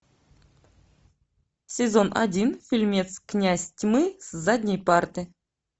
сезон один фильмец князь тьмы с задней парты